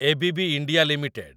ABB India limited